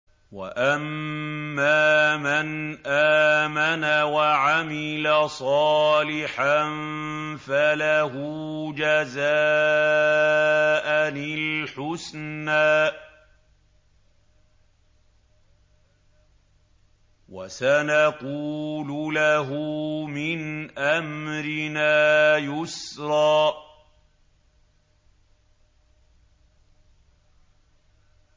وَأَمَّا مَنْ آمَنَ وَعَمِلَ صَالِحًا فَلَهُ جَزَاءً الْحُسْنَىٰ ۖ وَسَنَقُولُ لَهُ مِنْ أَمْرِنَا يُسْرًا